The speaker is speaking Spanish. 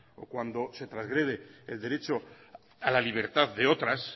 o cuando se trasgrede el derecho a la libertad de otras